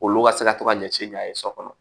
Olu ka se ka to ka ɲɛsin ɲɔn ye so kɔnɔ